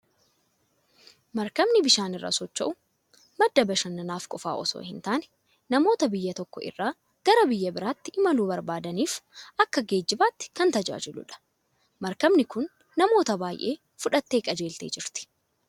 Markabni bishaan irra socho'u, madda bashannanaa qofaaf osoo hin taane, namoota biyya tokko irraa gara biyya biraatti imaluu barbaadaniif akka geejjibaatti kan tajaajiludha. Maarkabni kun namoota baay'ee fudhattee qajeeltee jirti.